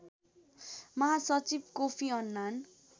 महासचिव Kofi Annan